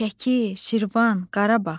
Şəki, Şirvan, Qarabağ.